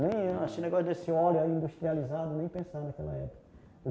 nem esse negócio desse óleo aí industrializado, nem pensar naquela época.